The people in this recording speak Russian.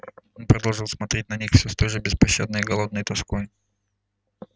он продолжал смотреть на них всё с той же беспощадной голодной тоской